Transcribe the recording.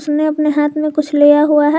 हाथ में कुछ लिया हुआ है।